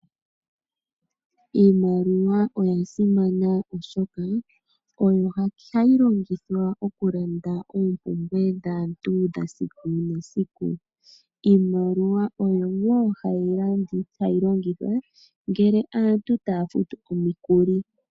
Iimaliwa oya simana oshoka ohayi longithwa okulanda oompumbwe dhaantu dhesiku nesiku . Iimaliwa oyo wo hayi longithwa ngele aantu taya futu omikuli.